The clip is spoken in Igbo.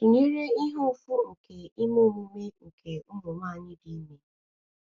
tụnyere ihe ụfụ nke ime omume omume nke nwanyị dị ime.